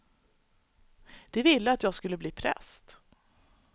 De ville att jag skulle bli präst.